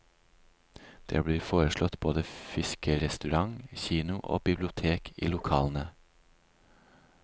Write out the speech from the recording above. Det blir foreslått både fiskerestaurant, kino og bibliotek i lokalene.